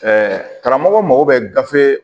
karamɔgɔ mago bɛ gafe